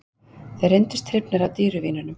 Þeir reyndust hrifnari af dýru vínunum